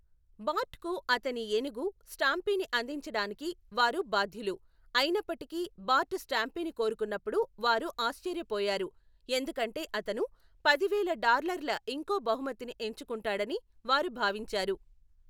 బార్ట్కు అతని ఏనుగు, స్టాంపీని అందించడానికి వారు బాధ్యులు, అయినప్పటికీ బార్ట్ స్టాంపీని కోరుకున్నప్పుడు వారు ఆశ్చర్యపోయారు, ఎందుకంటే అతను పదివేల డాలర్ల ఇంకో బహుమతిని ఎంచుకుంటాడని వారు భావించారు.